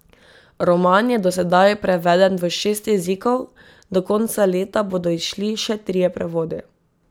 Roman je do sedaj preveden v šest jezikov, do konca leta bodo izšli še trije prevodi.